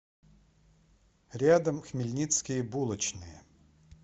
рядом хмельницкие булочные